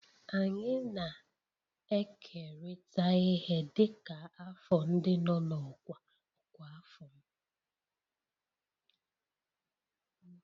Anyị na-ekerịta ihe dịka afọ ndị nọ n'ọkwa ọkwa afọ m.